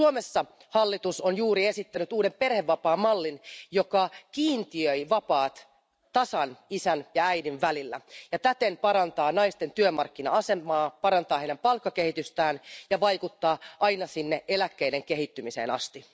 Suomessa hallitus on juuri esittänyt uuden perhevapaamallin, joka kiintiöi vapaat tasan isän ja äidin välillä ja täten parantaa naisten työmarkkina asemaa, parantaa heidän palkkakehitystään ja vaikuttaa aina sinne eläkkeiden kehittymiseen asti.